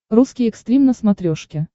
русский экстрим на смотрешке